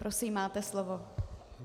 Prosím, máte slovo.